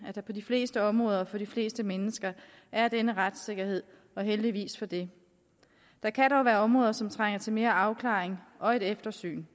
at der på de fleste områder for de fleste mennesker er denne retssikkerhed og heldigvis for det der kan dog være områder som trænger til mere afklaring og et eftersyn